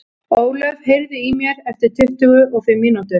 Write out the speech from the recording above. Ólöf, heyrðu í mér eftir tuttugu og fimm mínútur.